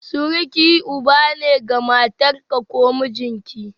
Suruki Uba ne ga matarka ko mijinki.